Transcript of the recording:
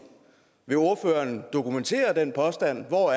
vil ordføreren dokumentere den påstand hvor